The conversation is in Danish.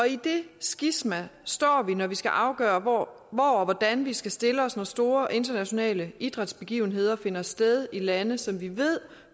i det skisma står vi når vi skal afgøre hvor og hvordan vi skal stille os når store internationale idrætsbegivenheder finder sted i lande som vi ved